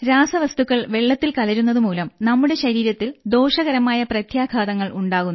രാസവസ്തുക്കൾ വെള്ളത്തിൽ കലരുന്നത് മൂലം നമ്മുടെ ശരീരത്തിൽ ദോഷകരമായ പ്രത്യാഘാതങ്ങൾ ഉണ്ടാകുന്നു